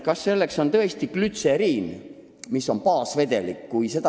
Kas selleks on tõesti glütseriin, mis on baasvedelik?